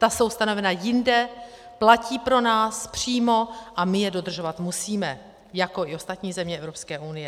Ta jsou stanovena jinde, platí pro nás přímo a my je dodržovat musíme jako i ostatní země Evropské unie.